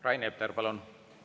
Rain Epler, palun!